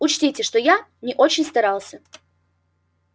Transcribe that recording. учтите что я не очень старался